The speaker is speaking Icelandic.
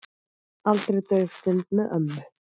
Aldrei dauf stund með ömmu.